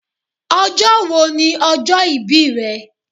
Ọjọ́ wo ni ọjọ́ ìbí ẹ?